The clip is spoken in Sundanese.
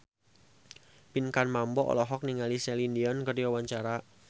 Pinkan Mambo olohok ningali Celine Dion keur diwawancara